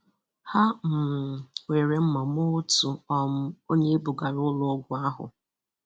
Ha um were mma maa otu um onye e bugara ụlọọgwụ ahụ.